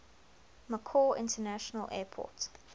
macau international airport